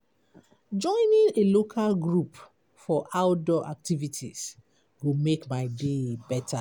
Joining a local group for outdoor activities go make my day better.